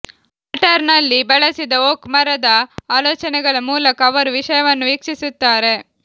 ಮ್ಯಾಟರ್ನಲ್ಲಿ ಬಳಸಿದ ಓಕ್ ಮರದ ಆಲೋಚನೆಗಳ ಮೂಲಕ ಅವರು ವಿಷಯವನ್ನು ವೀಕ್ಷಿಸುತ್ತಾರೆ